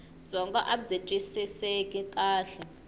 byongo abyi twisiseki kahle